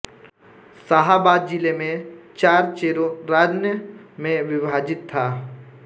शाहाबाद जिले में चार चेरो रान्य में विभाजित था